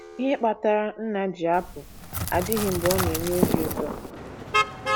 Ihe kpatara nna ji apụ adịghị mgbe ọ na - enye obi ụtọ.